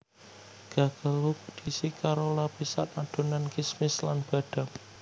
Gugelhupf diisi karo lapisan adonan kismis lan badam